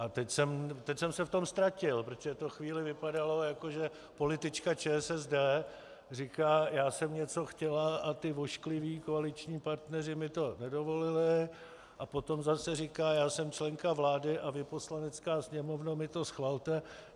A teď jsem se v tom ztratil, protože to chvíli vypadalo, jako že politička ČSSD říká: já jsem něco chtěla a ti oškliví koaliční partneři mi to nedovolili, a potom zase říká: já jsem členka vlády a vy, Poslanecké sněmovno, mi to schvalte.